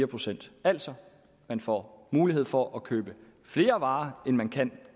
procent altså får mulighed for at købe flere varer end man kan